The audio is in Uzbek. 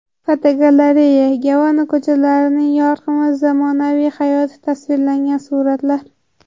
Fotogalereya: Gavana ko‘chalarining yorqin va zamonaviy hayoti tasvirlangan suratlar.